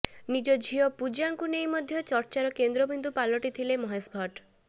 ନିଜ ଝିଅ ପୂଜାଙ୍କୁ ନେଇ ମଧ୍ୟ ଚର୍ଚ୍ଚାର କେନ୍ଦ୍ରବିନ୍ଦୁ ପାଲଟିଥିଲେ ମହେଶ ଭଟ୍ଟ